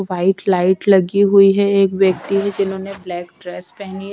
White light लगी हुई है एक व्यक्ति है जिन्होंने ब्लैक ड्रेस पहनी है।